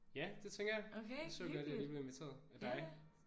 Ja det tænker jeg. Jeg så godt at jeg lige blev inviteret af dig